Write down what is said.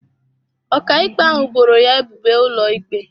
Ọkàikpe ahụ boro ya ebubo ụlọikpe.